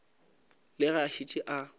le ge a šetše a